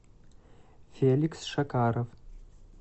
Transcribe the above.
феликс шакаров